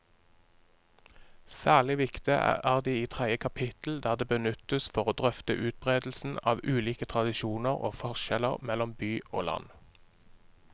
Særlig viktig er det i tredje kapittel, der det benyttes for å drøfte utbredelsen av ulike tradisjoner og forskjeller mellom by og land.